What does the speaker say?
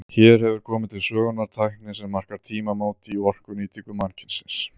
Hér hefur komið til sögunnar tækni sem markar tímamót í orkunýtingu mannkynsins.